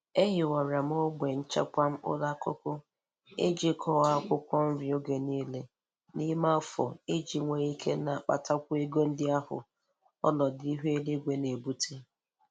Ehiwara m ogbe nchekwa mkpụrụ akụkụ iji kọọ akwụkwọ nri oge nile n'ime afọ iji nwee ike na-akpatakwu ego ndị ahụ onọdụ ihu eluigwe na-ebute.